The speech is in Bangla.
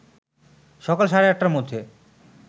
সকাল সাড়ে ৮টার মধ্যে